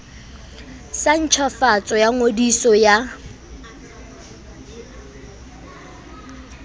sa ntjhafatso ya ngodiso ya